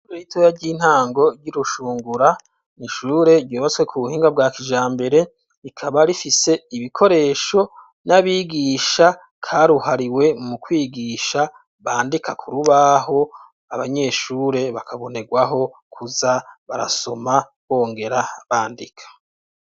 Shure ritoya ry'intango ry'Irushungura n'Ishure ryubatswe ku buhinga bwa kijambere, rikaba rifise ibikoresho n'abigisha karuhariwe, mu kwigisha bandika kurubaho, abanyeshure bakabonegwaho kuza barasoma bongera bandika.